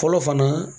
Fɔlɔ fana